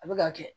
A bɛ ka kɛ